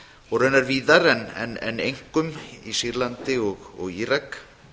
og raunar víðar en einkum í sýrlandi og írak